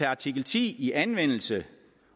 artikel ti i anvendelse